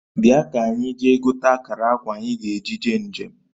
Bia kanyi jee gote akara akwa anyi ga-eji jee njem